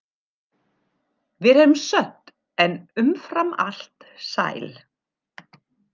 Við erum södd en umfram allt sæl.